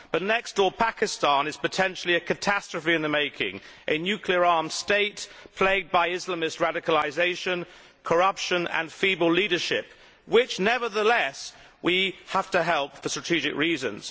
But next door, Pakistan is potentially a catastrophe in the making a nuclear arms state plagued by Islamist radicalisation, corruption and feeble leadership, which, nevertheless, we have to help for strategic reasons.